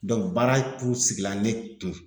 baara kun sigi la ne kun.